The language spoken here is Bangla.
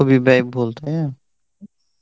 খুবই ব্যয়বহুল তাই না ?